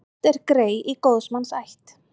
Oft er grey í góðs manns ætt.